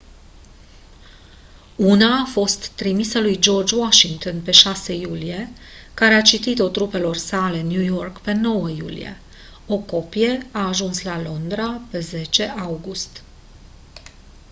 una a fost trimisă lui george washington pe 6 iulie care a citit-o trupelor sale în new york pe 9 iulie o copie a ajuns la londra pe 10 august